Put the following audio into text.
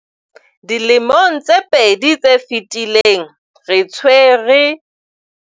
Dilemong tse pedi tse fetileng, re tshwere